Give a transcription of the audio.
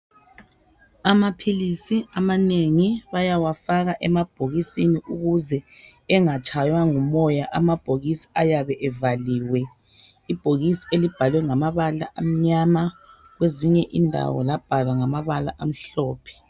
Amaphilisi amanengi bayawafaka emabhokisini ukuze engatshaywa ngumoya amabhokisi ayabe evaliwe, ibhokisi elibhalwe ngamabala amnyama kwezinye indawo labhalwa ngamabala amhlophe.